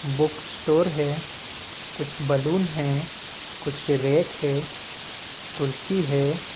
Book store है कुछ balloon है कुछ रैक है कुर्सी है।